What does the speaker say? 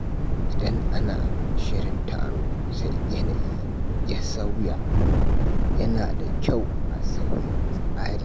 Idan ana shirin taro sai yanayi ya sauya, yana da kyau a sauya tsari.